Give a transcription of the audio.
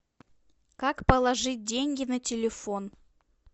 как положить деньги на телефон